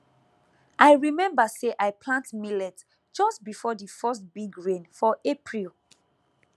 i remember say i plant millet just before the first big rain for april